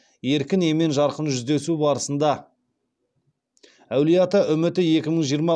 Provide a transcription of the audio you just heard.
еркін емен жарқын жүздесу барысында барысында әулиеата үміті екі мың жиырма